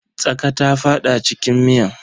Tsaƙa ta fada cikin miyan.